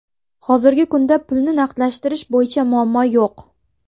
Hozirgi kunda pulni naqdlashtirish bo‘yicha muammo yo‘q.